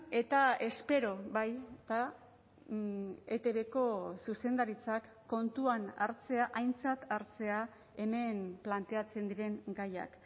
eta espero baita etbko zuzendaritzak kontuan hartzea aintzat hartzea hemen planteatzen diren gaiak